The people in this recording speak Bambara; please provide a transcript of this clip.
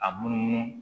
A munumunu